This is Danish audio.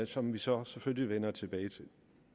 som vi så selvfølgelig vender tilbage til